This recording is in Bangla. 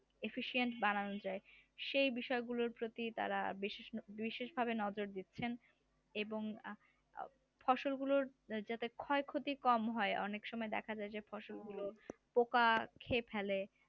effcient বানানো যায় সেই বিষয়গুলোর প্রতি তারা বেশি বিশেষ ভাবে নজর দিচ্ছেন এবং ফসল গুলোর যাতে ক্ষয়ক্ষতি কম হয় অনেক সময় দেখা যায় যে ফসলগুলো পোকা খেয়ে ফেলে